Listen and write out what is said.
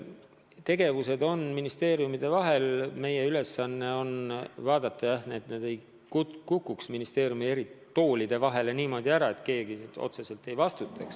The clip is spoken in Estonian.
Tegevused käivad ministeeriumide vahel ja meie ülesanne on vaadata, et need ei kukuks ministeeriumi eri toolide vahele niimoodi ära, et keegi otseselt ei vastuta.